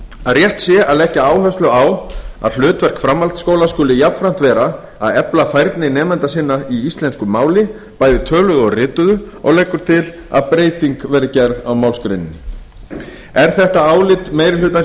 að rétt sé að leggja áherslu á að hlutverk framhaldsskóla skuli jafnframt vera að efla færni nemenda sinna í íslensku máli bæði töluðu og rituðu og leggur til að breyting verði gerð á málsgreininni er þetta álit meiri hlutans í